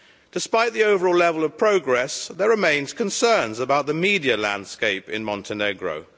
Despite the overall level of progress, there remain concerns about the media landscape in Montenegro.